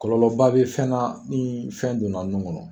Kɔlɔlɔba bɛ fɛnna min ni fɛn donna nun kɔnɔ.